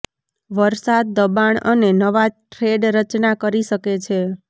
વરસાદ દબાણ અને નવા થ્રેડ રચના કરી શકે છે